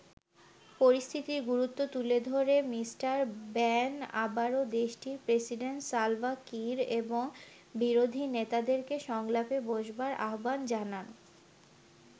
পরিস্থিতির গুরুত্ব তুলে ধরে মিস্টার ব্যান আবারো দেশটির প্রেসিডেন্ট সালভা কির এবং বিরোধী নেতাদেরকে সংলাপে বসবার আহ্বান জানান।